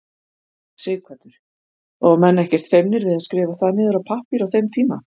Sighvatur: Og menn ekkert feimnir við að skrifa það niður á pappír á þeim tíma?